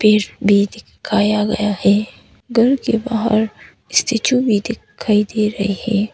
पेड़ भी दिखाया गया है। घर के बाहर स्टैचू भी दिखाई दे रही है।